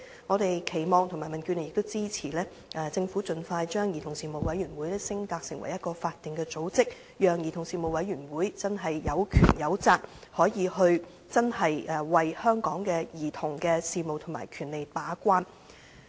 我們民主建港協進聯盟期望和支持政府盡快把兒童事務委員會升格為法定組織，讓該委員會真正有權有責，為香港的兒童事務和權利把關。